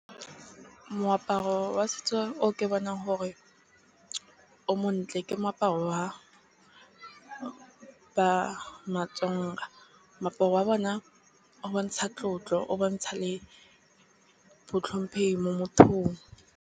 Moaparo wa setso o ke bonang gore o montle ke moaparo wa ba ma-Tsonga. Moaparo wa bona o bontsha tlotlo, o bontsha le bontlhomphehi mo mothong.